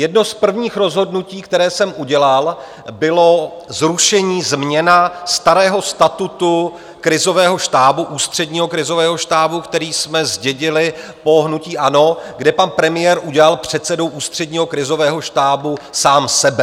Jedno z prvních rozhodnutí, které jsem udělal, bylo zrušení, změna starého statutu krizového štábu, Ústředního krizového štábu, který jsme zdědili po hnutí ANO, kde pan premiér udělal předsedou Ústředního krizového štábu sám sebe.